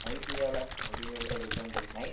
IT வேலை அப்படின்னு சொல்லிட்டு அது உட்காந்துட்டுருக்கு